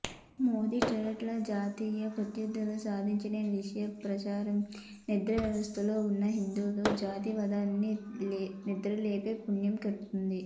మోదీ టార్గెట్గా రాజకీయ ప్రత్యర్ధులు సాగించిన విష ప్రచారం నిద్రావస్థలో ఉన్న హిందూ జాతీయవాదాన్ని నిద్రలేపి పుణ్యం కట్టుకుంది